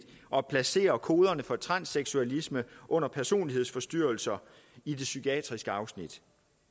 at placere koderne for transseksualisme under personlighedsforstyrrelser i det psykiatriske afsnit